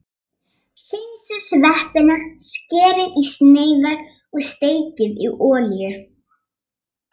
Hreinsið sveppina, skerið í sneiðar og steikið í olíu.